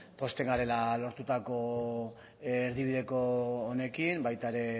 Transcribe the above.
pozten garela lortutako erdibideko honekin baita ere